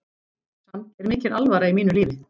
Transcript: Samt er mikil alvara í mínu lífi.